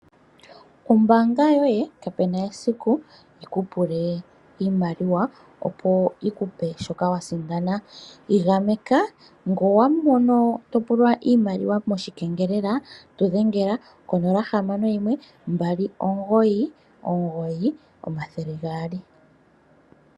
Ombaanga yoye kapena esiku yi kupule iimaliwa opo yi kupe shoka wa sindana, igameka ngele owa mono to pulwa iimaliwa mo shikengelela tu dhengela konola hamano yimwe, mbali omugoyi, omugoyi, omathele gaali.